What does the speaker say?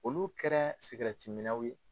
Olu kɛra minaw ye